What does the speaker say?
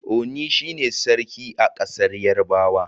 Oni shi ne Sarki a ƙasar Yarabawa.